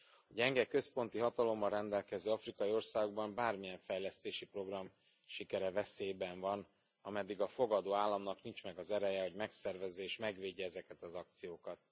A gyenge központi hatalommal rendelkező afrikai országokban bármilyen fejlesztési program sikere veszélyben van, ameddig a fogadó államnak nincs meg az ereje, hogy megszervezze és megvédje ezeket az akciókat.